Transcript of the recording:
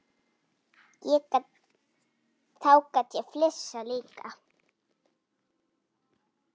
Þá gat ég flissað líka.